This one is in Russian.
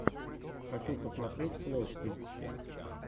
хочу посмотреть флости